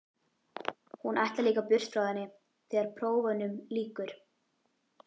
Hún ætlar líka burt frá henni þegar prófunum lýkur.